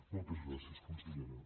moltes gràcies consellera